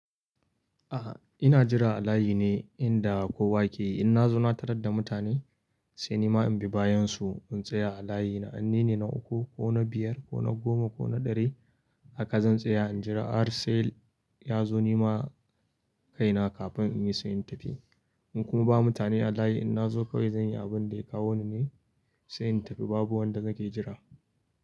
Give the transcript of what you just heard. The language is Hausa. A'a ina jira a layi ne inda kowa ke. In na zo na tarar da mutane sai ni ma in bi bayansu in tsaya a layi na. In nine na uku ko na biyar ko na goma ko na ɗari haka zan tsaya in jira har sai ya zo ni ma kaina kafin in yi sai in tafi. In kuma ba mutane a layi in na zo kawai zan yi abin da ya kawo ni ne sai in tafi babu wanda nake jira.